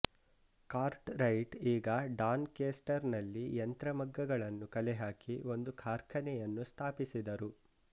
cart right ಈಗ Doncaster ನಲ್ಲಿ ಯಂತ್ರ ಮಗ್ಗಗಳನ್ನು ಕಲೆಹಾಕಿ ಒಂದು ಕಾರ್ಖಾನೆಯನ್ನು ಸ್ಥಾಪಿಸಿದರು